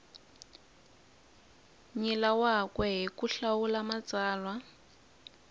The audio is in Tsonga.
nyilaweke hi ku hlawula matsalwa